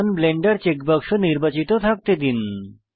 run Blender checkbox নির্বাচিত থাকতে দিন